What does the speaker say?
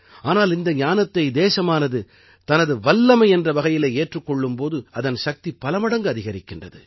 ஆனால் இந்த ஞானத்தை தேசமானது தனது வல்லமை என்ற வகையிலே ஏற்றுக் கொள்ளும் போது அதன் சக்தி பலமடங்கு அதிகரிக்கின்றது